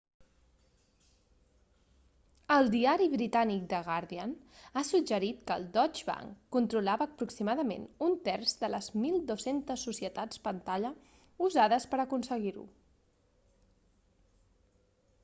el diari britànic the guardian ha suggerit que el deutsche bank controlava aproximadament un terç de les 1200 societats pantalla usades per a aconseguir-ho